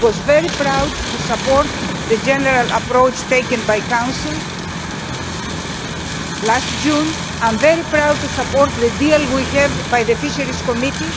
I was very proud to support the general approach taken by the Council last June, I am very proud to support the deal we have with the Committee on Fisheries,